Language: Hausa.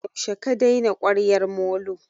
Yaushe ka daina kwaryar molo?